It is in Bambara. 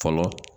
Fɔlɔ